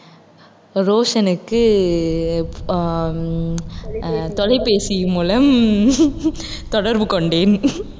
ரோஷனுக்கு ஆஹ் உம் ஆஹ் தொலைபேசி மூலம் தொடர்பு கொண்டேன்